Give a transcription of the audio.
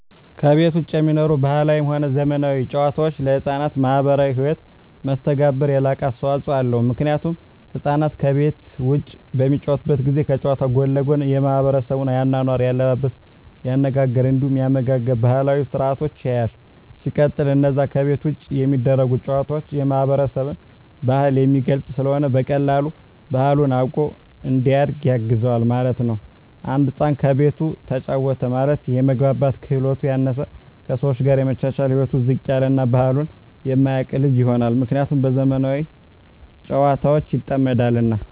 ከቤት ዉጪ የሚኖሩ ባህላዊም ሆነ ዘመናዊ ጨዋታወች ለሕፃናት ማህበራዊ ህይወት መስተጋብር የላቀ አስተዋጾ አለዉ ምክንያቱም ህፃናት ከቤት ዉጪ በሚጫወቱበት ጊዜ ከጨዋታዉ ጎን ለጎን የማሕበረሰቡን የአኗኗር፣ የአለባበስ፤ የአነጋገር እንዲሁም የአመጋገብ ባህላዊ ስርአቶችን ያያል። ሲቀጥል አነዛ ከቤት ዉጪ የሚደረጉ ጨዋታወች የማህበረሰብን ባህል የሚገልጽ ስለሆነ በቀላሉ ባህሉን አዉቆ እንዲያድግ ያግዘዋል ማለት ነዉ። አንድ ህፃን ከቤቱ ተጫወተ ማለት የመግባባት ክህሎቱ ያነሰ፣ ከሰወች ጋር የመቻቻል ህይወቱ ዝቅ ያለ እና ባህሉን የማያቅ ልጅ ይሆናል። ምክንያቱም በዘመናዊ ጨዋታወች ይጠመዳልና።